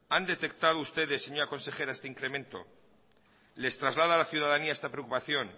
han detectado ustedes señora consejera este incremento les traslada la ciudadanía esta preocupación